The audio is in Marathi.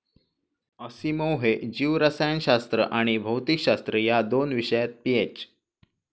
असिमोव हे जीवरसायनशास्त्र आणि भौतिकशास्त्र या दोन विषयात पीएच.